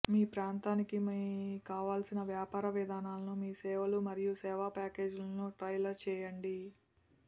మీ ప్రాంతానికి మరియు మీ కావలసిన వ్యాపార విధానాలకు మీ సేవలు మరియు సేవ ప్యాకేజీలను టైలర్ చేయండి